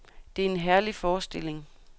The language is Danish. Det er en herlig forestilling.